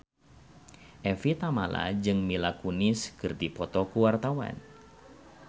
Evie Tamala jeung Mila Kunis keur dipoto ku wartawan